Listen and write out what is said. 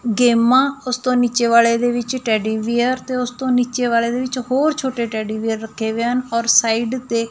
ਗੇਮਾਂ ਉਸਤੋਂ ਨਿੱਚੇ ਵਾਲੇ ਦੇ ਵਿਚ ਟੇਡੀ ਬੀਅਰ ਤੇ ਉਸਤੋਂ ਨਿੱਚੇ ਵਾਲੇ ਦੇ ਵਿਚ ਹੋਰ ਛੋਟੇ ਟੇਡੀ ਬੀਅਰ ਰੱਖੇ ਹੋਏ ਹਨ ਔਰ ਸਾਈਡ ਤੇ--